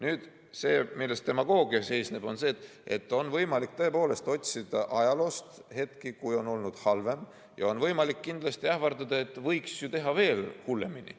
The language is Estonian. Nüüd see, milles demagoogia seisneb, on see, et on võimalik tõepoolest otsida ajaloost hetki, kui on olnud halvem, ja on võimalik kindlasti ähvardada, et võiks ju teha veel hullemini.